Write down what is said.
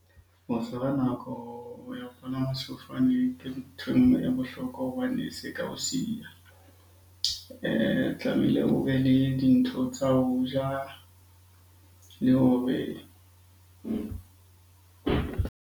Ho feela nako ya ho palama sefofane ke nthwe e nngwe e bohlokwa hobane se ka o siya. Tlamehile o be le dintho tsa ho ja le hore.